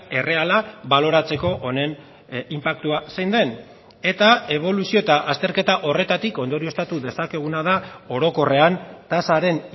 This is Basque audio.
erreala baloratzeko honen inpaktua zein den eta eboluzio eta azterketa horretatik ondorioztatu dezakeguna da orokorrean tasaren